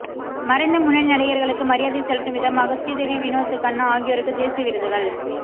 மறைந்த முன்னணி நடிகர்களுக்கு மரியாதை செலுத்தும் விதமாக ஸ்ரீதேவி வினோத் கண்ணா ஆகியோருக்கு தேசிய விருதுகள்